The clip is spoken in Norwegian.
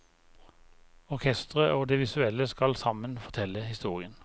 Orkesteret og det visuelle skal sammen fortelle historien.